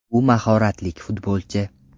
U mahoratlik futbolchi.